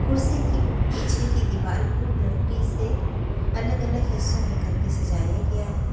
कुर्सी की पीछे की दीवाल को लकड़ी से अलग अलग हिस्सों में करके सजाया गया है।